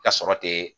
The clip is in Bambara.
Ka sɔrɔ te